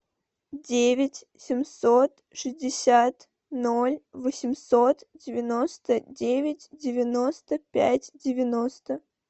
девять семьсот шестьдесят ноль восемьсот девяносто девять девяносто пять девяносто